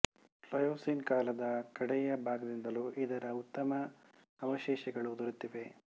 Pliocene ಕಾಲದ ಕಡೆಯ ಭಾಗದಿಂದಲೂ ಇದರ ಉತ್ತಮ ಅವಶೇಷಗಳು ದೊರೆತಿವೆ